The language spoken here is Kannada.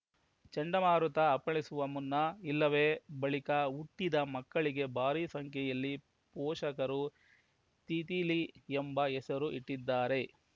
ಚಂಡಮಾರುತ ಅಪ್ಪಳಿಸುವ ಮುನ್ನ ಇಲ್ಲವೇ ಬಳಿಕ ಹುಟ್ಟಿದ ಮಕ್ಕಳಿಗೆ ಭಾರೀ ಸಂಖ್ಯೆಯಲ್ಲಿ ಪೋಷಕರು ತಿತಿಲಿ ಎಂಬ ಹೆಸರು ಇಟ್ಟಿದ್ದಾರೆ